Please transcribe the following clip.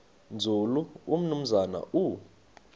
nzulu umnumzana u